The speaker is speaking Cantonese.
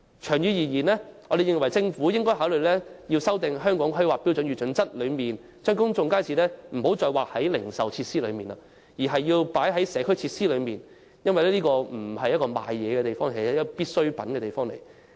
長遠而言，我們認為政府應考慮修訂《香港規劃標準與準則》，不要再把公眾街市視作"零售設施"，而應視之為"社區設施"，因為公眾街市不是銷售東西地方，而是販賣必需品的地方。